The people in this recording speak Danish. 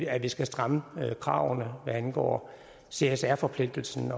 at vi skal stramme kravene hvad angår csr forpligtelsen